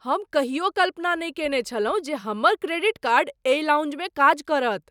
हम कहियो कल्पना नहि कयने छलहुँ जे हमर क्रेडिट कार्ड एहि लाउंजमे काज करत!